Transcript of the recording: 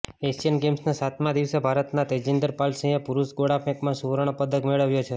Asian ગેમ્સના સાતમાં દિવસે ભારતના તેજીંદર પાલ સિંહે પુરુષ ગોળાફેંકમાં સુવર્ણ પદક મેળવ્યો છે